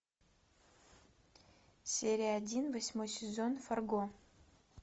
серия один восьмой сезон фарго